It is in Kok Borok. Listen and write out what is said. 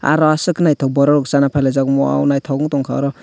aro aswk khe naithok borok chana phailaijak wow naithok ungtongkha oro.